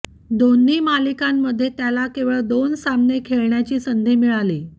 दोन्ही मालिकांमध्ये त्याला केवळ दोन सामने खेळण्याची संधी मिळाली